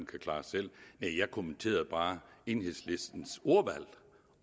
kan klare selv jeg kommenterede bare enhedslistens ordvalg